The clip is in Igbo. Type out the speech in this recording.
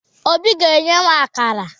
Obi ga-enye m akara